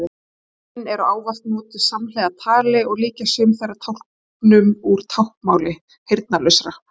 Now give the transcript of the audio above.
Táknin eru ávallt notuð samhliða tali og líkjast sum þeirra táknum úr táknmáli heyrnarlausra.